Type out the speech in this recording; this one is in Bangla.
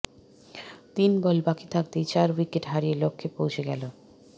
তিন বল বাকি থাকতেই চার উইকেট হারিয়ে লক্ষ্যে পৌঁছে গেল